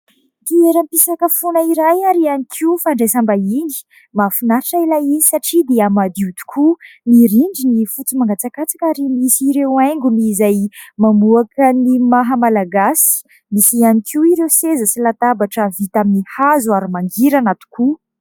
Toerampisakafoanana iray ihany koa fandraisambahiny. Mahafinaritra ilay izy satria dia madio tokoa : ny rindriny fotsy mangatsakatsaka ary misy ireo haingony izay mamoaka ny maha-Malagasy. Misy ihany koa ireo seza sy latabatra vita amin'ny hazo ary mangirana tokoa.